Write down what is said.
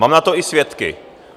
Mám na to i svědky.